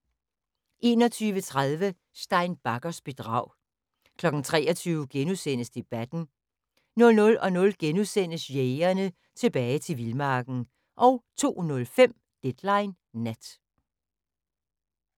21:30: Stein Baggers bedrag 23:00: Debatten * 00:00: Jægerne – Tilbage til vildmarken * 02:05: Deadline Nat